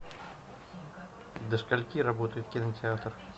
до скольки работает кинотеатр